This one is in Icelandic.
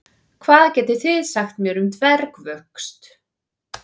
Hvað getið þið sagt mér um dvergvöxt?